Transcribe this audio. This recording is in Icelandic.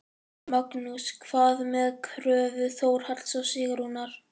Magnús: Hvað með kröfu Þórhalls og Sigrúnar?